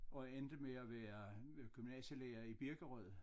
Og endte med at være gymnasielærer i Birkerød